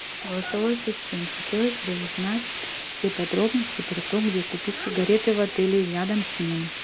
голосовой ассистент хотелось бы узнать все подробности про то где купить сигареты в отеле или рядом с ним